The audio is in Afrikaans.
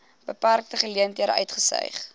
beperkte geleenthede uitgestyg